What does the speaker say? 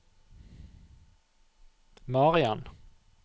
Marian